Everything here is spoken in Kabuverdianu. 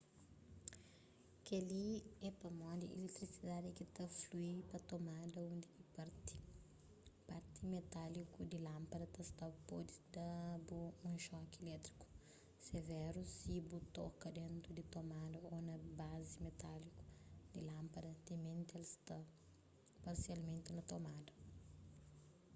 kel-li é pamodi iletrisidadi ki ta flui pa tomada undi ki parti metáliku di lánpada ta sta pode da-bu un xoki ilétriku severu si bu toka dentu di tomada ô na bazi metáliku di lánpada timenti el sta parsialmenti na tomada